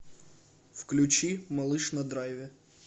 включи малыш на драйве